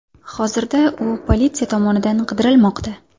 Hozirda u politsiya tomonidan qidirilmoqda.